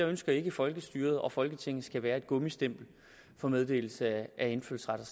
ønsker at folkestyret og folketinget skal være et gummistempel for meddelelse af indfødsret